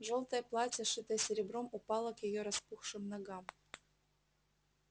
жёлтое платье шитое серебром упало к её распухшим ногам